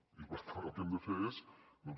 i per tant el que hem de fer és doncs